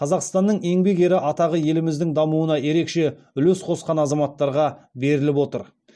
қазақстанның еңбек ері атағы еліміздің дамуына ерекше үлес қосқан азаматтарға беріліп отыр